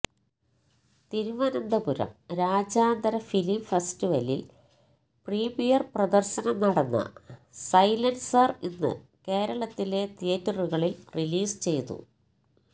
തിരുവനന്തപുരം രാജ്യാന്തര ഫിലിം ഫെസ്റ്റിവലിൽ പ്രീമിയർ പ്രദർശനം നടന്ന സൈലൻസർ ഇന്ന് കേരളത്തിലെ തിയേറ്ററുകളിൽ റിലീസ് ചെയ്തു